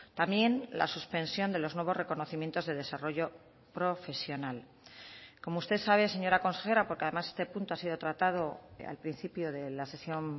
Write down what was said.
también la suspensión de los nuevos reconocimientos de desarrollo profesional como usted sabe señora consejera porque además este punto ha sido tratado al principio de la sesión